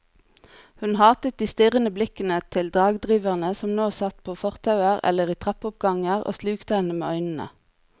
Hun hatet de strirrende blikkende til dagdriverne som satt på fortauer eller i trappeoppganger og slukte henne med øynene.